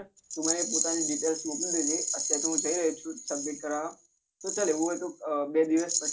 તું મને પોતાની details મોકલી દે જે હું જઈ રહયો છું sabmit કરાવવા તો ચલ આવું હોય તો બે દિવસ પછી